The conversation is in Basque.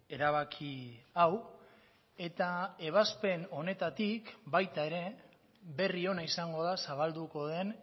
erabaki hau eta ebazpen honetatik baita ere berri ona izango da zabalduko den